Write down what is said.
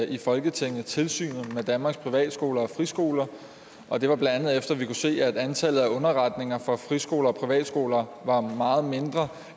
i folketinget tilsynet med danmarks privatskoler og friskoler og det var bla efter at vi havde se at antallet af underretninger fra friskoler og privatskoler var meget mindre